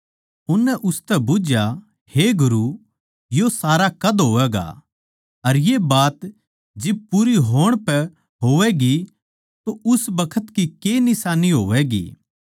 उननै उसतै बुझ्झया हे गुरू यो सारा कद होवैगा अर ये बात जिब पूरी होण पै होवैगी तो उस बखत की के निशान्नी होवैगी